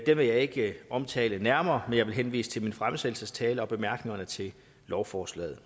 vil jeg ikke omtale nærmere men jeg vil henvise til min fremsættelsestale og bemærkningerne til lovforslaget